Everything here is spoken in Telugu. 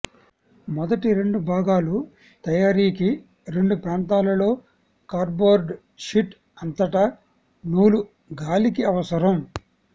మొదటి రెండు భాగాలు తయారీకి రెండు ప్రాంతాలలో కార్డ్బోర్డ్ షీట్ అంతటా నూలు గాలికి అవసరం